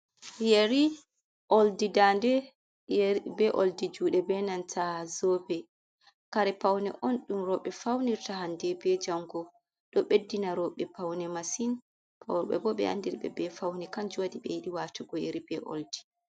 Yeri oldi dande yeri be oldi jude be nanta zobe kare paune on dum roɓe faunirta hande be jango do beddina roɓe paune masin, robe bo be andirbe be faune kan juwadi be yidi watugo teri be oldi.